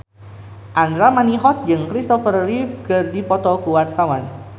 Andra Manihot jeung Christopher Reeve keur dipoto ku wartawan